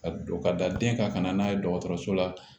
Ka don ka da den kan ka na n'a ye dɔgɔtɔrɔso la